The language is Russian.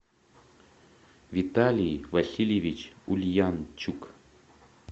виталий васильевич ульянчук